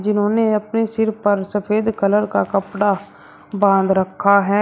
इन्होंने अपने सिर पर सफेद कलर का कपड़ा बांध रखा है।